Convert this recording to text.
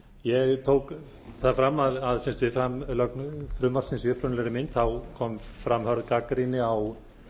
ég tók það fram að við framlögn frumvarpsins í upprunalegri mynd kom fram hörð gagnrýni á